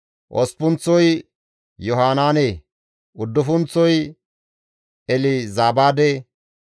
osppunththozi Yohanaane; uddufunththozi Elzabaade;